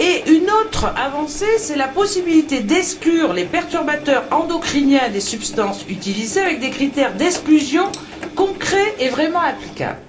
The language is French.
Une autre avancée est la possibilité d'exclure les perturbateurs endocriniens des substances utilisées avec des critères d'exclusion concrets et vraiment applicables.